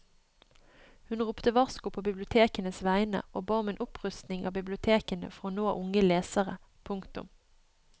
Hun ropte varsko på bibliotekenes vegne og ba om en opprustning av bibliotekene for å nå unge lesere. punktum